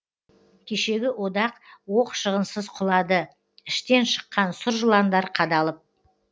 кешегі одақ оқ шығынсыз құлады іштен шыққан сұр жыландар қадалып